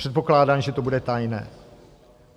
Předpokládám, že to bude tajné.